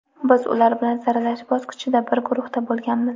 Biz ular bilan saralash bosqichida bir guruhda bo‘lganmiz.